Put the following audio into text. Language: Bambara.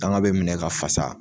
Bagan bɛ minɛ ka fasa